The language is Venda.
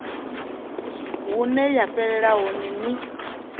hune ya fhelela hone ni